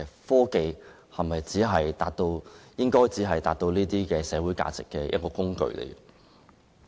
科技是否只被視為達致這些社會價值的一個工具呢？